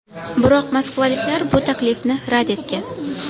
Biroq moskvaliklar bu taklifni rad etgan.